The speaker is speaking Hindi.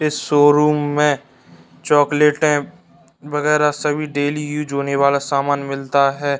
इस शोरूम में चॉकलेटे वगैरा सभी डेली यूज होने वाला सामान मिलता है।